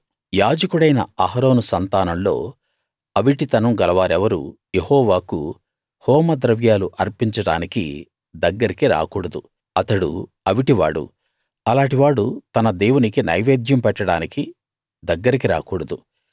యాజకుడైన అహరోను సంతానంలో అవిటితనం గలవారెవరూ యెహోవాకు హోమద్రవ్యాలు అర్పించడానికి దగ్గరికి రాకూడదు అతడు అవిటి వాడు అలాటి వాడు తన దేవునికి నైవేద్యం పెట్టడానికి దగ్గరికి రాకూడదు